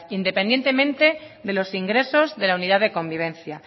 independientemente de los ingresos de la unidad de convivencia